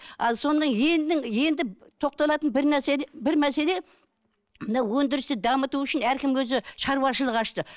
ал соны тоқталатын бір бір мәселе мынау өндірісті дамыту үшін әркім өзі шаруашылық ашты